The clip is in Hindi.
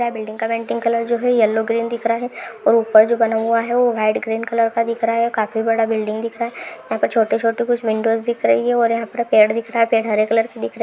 ये बिल्डिंग का पेंटिंग कलर जो है येलो ग्रीन दिख रहा है और ऊपर जो बना हुआ है वो हेड ग्रीन कलर का दिख रहा है काफी बड़ा बिल्डिंग दिख रहा है यहां पर छोटे छोटे कुछ विंडोज दिख रही है और यहां पर पेड़ दिख रहा है पेड़ हरे कलर का दिख रहा--